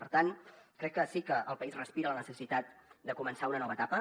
per tant crec que sí que el país respira la necessitat de començar una nova etapa